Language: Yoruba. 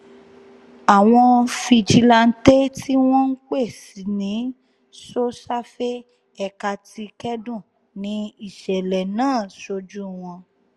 àwọn fijilantàn tí wọ́n ń pè ní so-safe ẹ̀ka ti kẹ́dùn ní ìṣẹ̀lẹ̀ náà sójú wọn